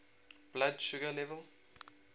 blood sugar level